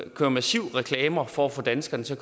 kører massive reklamer for at få danskerne til